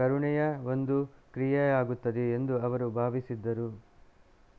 ಕರುಣೆಯ ಒಂದು ಕ್ರಿಯೆಯಾಗುತ್ತದೆ ಎಂದು ಅವರು ಭಾವಿಸಿದ್ದರು